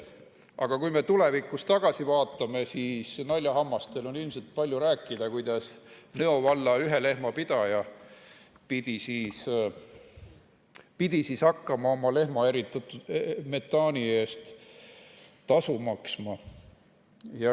Aga kui me tulevikus tagasi vaatame, siis naljahammastel on ilmselt palju rääkida, kuidas Nõo valla ühelehmapidaja pidi hakkama oma lehma eritatud metaani eest tasu maksma.